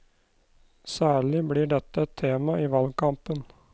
Særlig blir dette et tema i valgkampen.